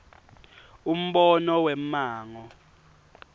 umbono wemmango